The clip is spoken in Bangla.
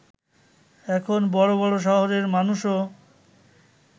এখন বড় বড় শহরের মানুষও